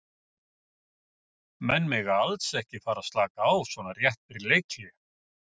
Menn mega alls ekki að fara að slaka á svona rétt fyrir leikhlé.